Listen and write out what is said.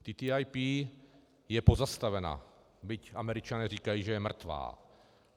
TTIP je pozastavena, byť Američané říkají, že je mrtvá.